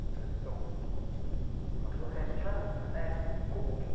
Essa transição do nosso